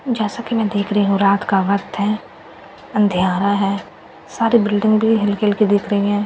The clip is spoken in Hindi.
जैसा कि मैं देख रही हूं रात का वक्‍त है अंधियारा है सारी बिल्डिंग भी हल्‍की-हल्‍की दिख रही है पेड़ --